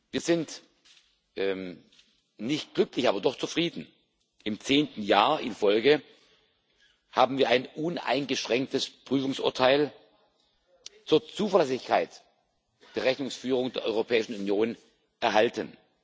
Wir sind nicht glücklich, aber doch zufrieden. Im zehnten Jahr in Folge haben wir ein uneingeschränktes Prüfungsurteil zur Zuverlässigkeit der Rechnungsführung der Europäischen Union erhalten.